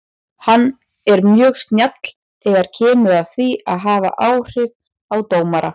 Hann er mjög snjall þegar kemur að því að hafa áhrif á dómara.